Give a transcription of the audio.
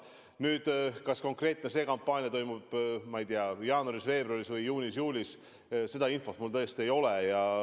Nüüd, kas see konkreetne kampaania toimub, ma ei tea, jaanuaris-veebruaris või juunis-juulis, seda infot mul tõesti ei ole.